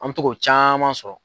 An mɛ to k'o caman sɔrɔ.